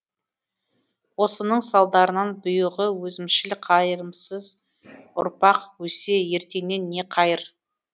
осының салдарынан бұйығы өзімшіл қайрымсыз ұрпақ өссе ертеңнен не қайыр